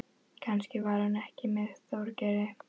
Kannski var hún ekki með Þorgeiri.